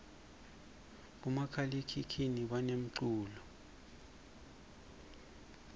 bomakhalakhukhuni banemculo